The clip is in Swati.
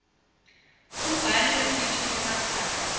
umbhali wetisho temaswati